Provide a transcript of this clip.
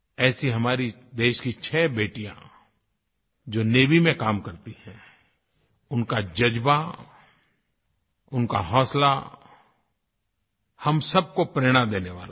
ऐसी हमारी देश की छ बेटियां जो नेवी में काम करती हैं उनका जज़्बा उनका हौसला हम सब को प्रेरणा देने वाला है